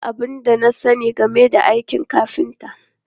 Ba abin da na sani game da aikin kafinta.